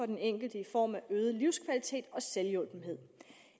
den enkelte i form af øget livskvalitet og selvhjulpenhed